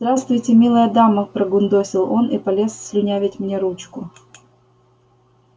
здравствуйте милая дама прогундосил он и полез слюнявить мне ручку